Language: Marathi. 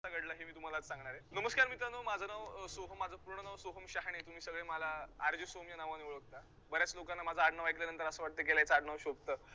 घडलं की तुम्हाला आज सांगणार आहे. नमस्कार मित्रांनो. माझं नाव सोहम माझं पूर्ण नाव सोहम शहाणे, तुम्ही सगळे मला RJ सोहम या नावाने ओळखता, बऱ्याच लोकांना माझं आडनाव ऐकल्यानंतर असं वाटतं की याला याचं आडनाव शोभतं.